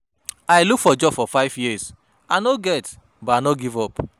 I look for job for five years, I no get but I no give up.